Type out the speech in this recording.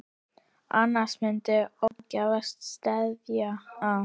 Annars myndi ógæfa steðja að.